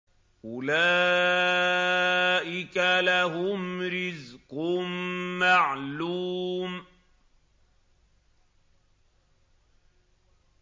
أُولَٰئِكَ لَهُمْ رِزْقٌ مَّعْلُومٌ